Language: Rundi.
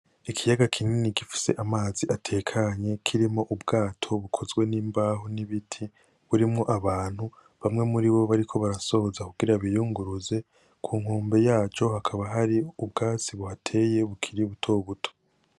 Ikiyaga kinini gifise amazi atekanye kirimwo ubwato bukozwe n'imbaho n'ibiti burimwo abantu bamwe muribo bariko barasoza kugira ngo biyinguruze kunkombe yaco hakaba hari ubwatsi buhateye bukuri butobuto.